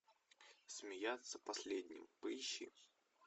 смеяться последним поищи